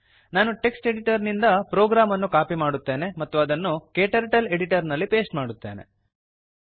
ನಾನು text editor ನಿಂದ program ಅನ್ನು ಕಾಪಿ ಮಾಡುತ್ತೇನೆ ಮತ್ತು ಅದನ್ನು ಕ್ಟರ್ಟಲ್ editorನಲ್ಲಿ ಪೇಸ್ಟ್ ಮಾಡುತ್ತೇನೆ